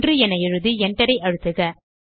1 என எழுதி enter ஐ அழுத்துக